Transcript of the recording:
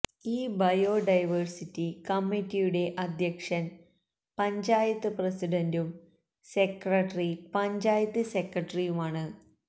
ഈ ബയോഡൈവേഴ്സിറ്റി കമ്മിറ്റിയുടെ അദ്ധ്യക്ഷന് പഞ്ചായത്ത് പ്രസിഡണ്ടും സെക്രട്ടറി പഞ്ചായത്ത് സെക്രട്ടറിയുമാണ്